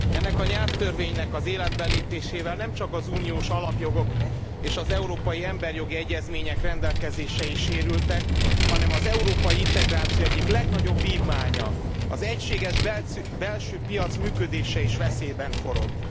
Ennek a nyelvtörvénynek az életbe lépésével nem csak az uniós alapjogok és az európai emberi jogi egyezmények rendelkezései sérültek, hanem az európai integráció egyik legnagyobb vívmánya, az egységes belső piac működése is veszélyben forog.